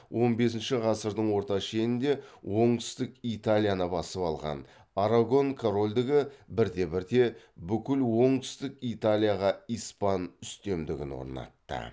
он бесінші ғасырдың орта шенінде оңтүстік италияны басып алған арагон корольдігі бірте бірте бүкіл оңтүстік италияға испан үстемдігін орнатты